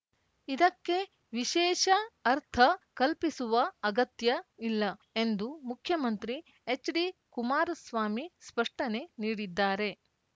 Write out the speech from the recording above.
ಇದಕ್ಕೆ ವಿಶೇಷ ಅರ್ಥ ಕಲ್ಪಿಸುವ ಅಗತ್ಯ ಇಲ್ಲ ಎಂದು ಮುಖ್ಯಮಂತ್ರಿ ಎಚ್‌ಡಿಕುಮಾರಸ್ವಾಮಿ ಸ್ಪಷ್ಟನೆ ನೀಡಿದ್ದಾರೆ